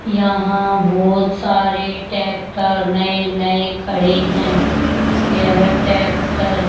यहां बहोत सारे ट्रैक्टर नए नए खड़े हैं यह ट्रैक्टर --